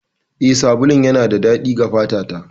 Eh, sabulun yana da daɗi ga fata ta.